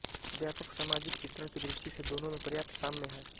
व्यापक सामाजिक चित्रण की दृष्टि से दोनों में पर्याप्त साम्य है